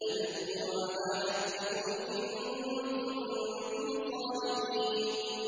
أَنِ اغْدُوا عَلَىٰ حَرْثِكُمْ إِن كُنتُمْ صَارِمِينَ